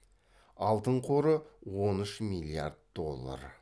алтын қоры он үш миллиард доллар